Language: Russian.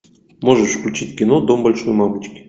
можешь включить кино дом большой мамочки